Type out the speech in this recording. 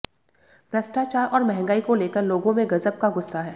भ्रष्टाचार और महंगाई को लेकर लोगों में गजब का गुस्सा है